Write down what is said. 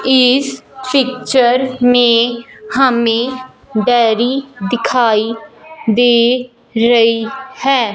इस पिक्चर में हमें डेरी दिखाई दे रही है।